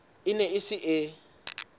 e ne e se e